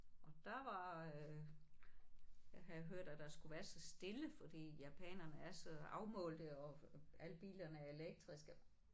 Og der var øh jeg havde hørt at der skulle være så stille fordi japanerne er så afmålte og alle bilerne er elektriske